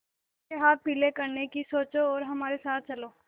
उसके हाथ पीले करने की सोचो और हमारे साथ चलो